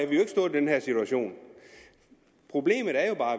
den her situation problemet er jo bare